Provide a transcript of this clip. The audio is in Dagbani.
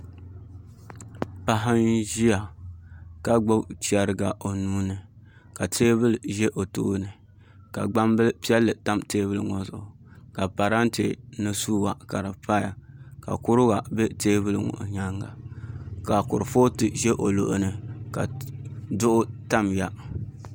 Paɣa n ʒiya ka gbubi chɛrigi o nuuni ka teebuli ʒɛ o tooni ka gbambili piɛlli pa teebuli ŋo zuɣu ka parantɛ mini suwa ka di paya ka kuriga bɛ teebuli ŋo nyaanga ka kurifooti ʒɛ o luɣuli ka duɣu tamya